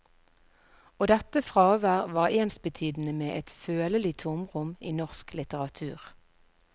Og dette fravær var ensbetydende med et følelig tomrom i norsk litteratur.